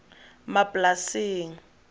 maplasing